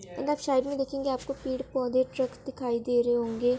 अगर आप साइड में देखेंगे आपको पेड़ पौधे ट्रक्स दिखाई दे रहे होंगे।